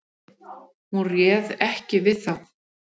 Hún réð ekki við þá.